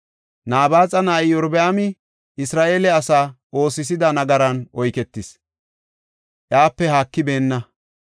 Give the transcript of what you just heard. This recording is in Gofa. Nabaaxa na7ay Iyorbaami Isra7eele asa oosisida nagaran oyketis; iyape haakibeenna.